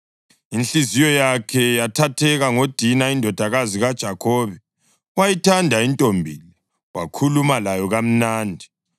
Inhliziyo yakhe yathatheka ngoDina indodakazi kaJakhobe, wayithanda intombi le, wakhuluma layo kamnandi.